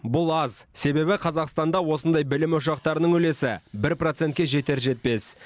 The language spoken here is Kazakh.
бұл аз себебі қазақстанда осындай білім ошақтарының үлесі бір процентке жетер жетпес